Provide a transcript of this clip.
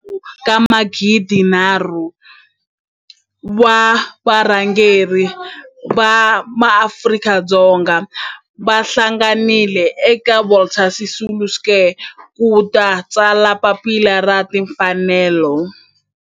kwalomu ka magidi nharhu, 3 000 wa varhangeri va maAfrika-Dzonga va hlanganile eka Walter Sisulu Square ku ta tsala Papila ra Tinfanelo.